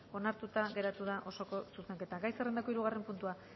onartuta geratu da osoko zuzenketa gai zerrendako hirugarren puntua